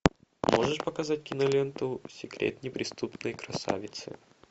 можешь показать киноленту секрет неприступной красавицы